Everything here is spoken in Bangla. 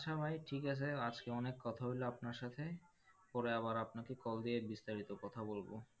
আচ্ছা ভাই ঠিক আছে আজকে অনেক কথা হলো আপনার সাথে পরে আবার আপনাকে call দিয়ে বিস্তারিত কথা বলবো।